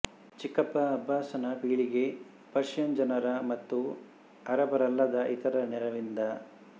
ಚಿಕ್ಕಪ್ಪ ಅಬ್ಬಾಸನ ಪೀಳಿಗೆ ಪರ್ಷಿಯನ್ ಜನರ ಮತ್ತು ಅರಬ್ಬರಲ್ಲದ ಇತರರ ನೆರವಿನಿಂದ